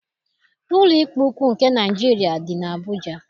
Ụlọikpe ukwuu nke Naịjiria dị n'Abuja.